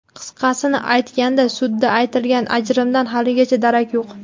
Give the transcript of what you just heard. Qisqasini aytganda, sudda aytilgan ajrimdan haligacha darak yo‘q.